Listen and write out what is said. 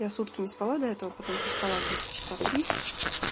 я сутки не спала до этого потом поспала где-то часа три